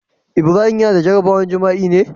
Ibrahim Yana da jaraban jima'i me?